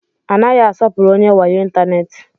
A naghị asọpụrụ onye wayo ịntanetị.